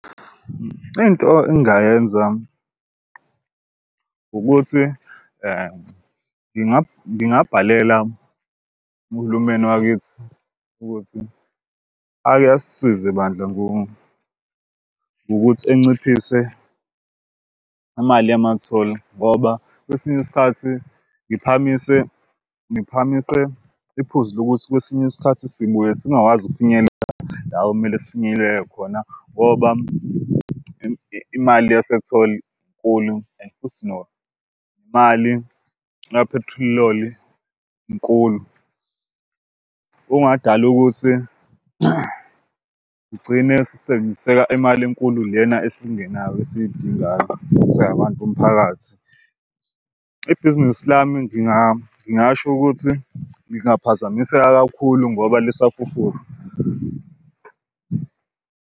Into engingayenza ukuthi ngingabhalela uhulumeni wakithi ukuthi ake asisize bandla ngokuthi anciphise imali yama-toll ngoba kwesinye isikhathi ngiphakamise ngiphakamise iphuzi lokuthi kwesinye isikhathi sibuye singakwazi ukufinyelela la okumele sifinyelele khona ngoba imali yase-toll inkulu and futhi nemali kaphethiloli inkulu. Okungadali ukuthi igcine sekusebenziseka imali enkulu lena esingenayo esidingayo sabantu bomphakathi. Ibhizinisi lami ngingasho ukuthi ngingaphazamiseka kakhulu ngoba lisafufusa.